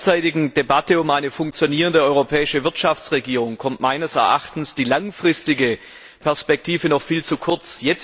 In der derzeitigen Debatte um eine funktionierende europäische Wirtschaftsregierung kommt meines Erachtens die langfristige Perspektive noch viel zu kurz.